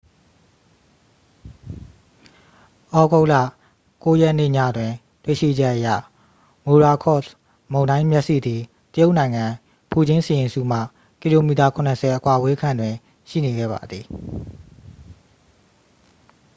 သြဂုတ်လ 9 ရက်နေ့ညတွင်တွေ့ရှိချက်အရ မိုရာကော့စ် မုန်တိုင်းမျက်စိသည် တရုတ်နိုင်ငံ ဖူကျင်းစီရင်စုမှ ကီလိုမီတာ ခုနစ်ဆယ် အကွာအဝေးခန့်တွင် ရှိနေခဲ့ပါသည်